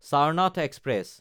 Charnath express